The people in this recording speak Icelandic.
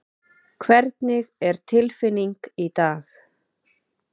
Hvernig er tilfinning í dag?